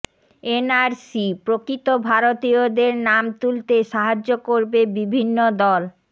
এনআরসিঃ প্ৰকৃত ভারতীয়দের নাম তুলতে সাহায্য করবে বিভিন্ন দল